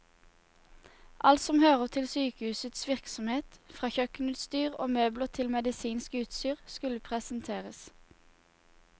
Alt som hører til sykehusets virksomhet, fra kjøkkenutstyr og møbler til medisinsk utstyr, skulle presenteres.